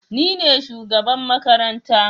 Nine shugaban makaranta